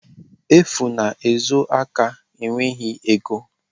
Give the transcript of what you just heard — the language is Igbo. Efu na-ezo aka enweghị ego.